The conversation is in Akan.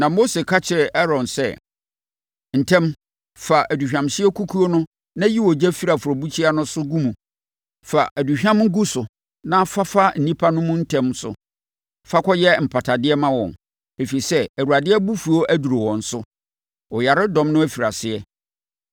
Na Mose ka kyerɛɛ Aaron sɛ, “Ntɛm, fa aduhwamhyeɛ kukuo no na yi ogya firi afɔrebukyia no so gu mu. Fa aduhwam gu so na fa fa nnipa no mu ntɛm so fa kɔyɛ mpatadeɛ ma wɔn, ɛfiri sɛ, Awurade abufuo aduru wɔn so. Ɔyaredɔm no afiri aseɛ.”